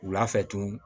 Wula fɛ tun